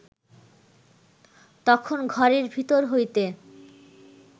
তখন ঘরের ভিতর হইতে